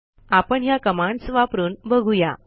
आपण ह्या कमांडस वापरून बघू या